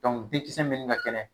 Denkisɛ mini ka kɛnɛ